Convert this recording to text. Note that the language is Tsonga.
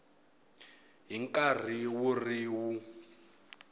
hi nkarhi wu ri wun